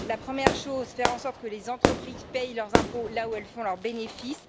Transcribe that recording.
La première faire en sorte que les entreprises paient leurs impôts là où elles font leurs bénéfices.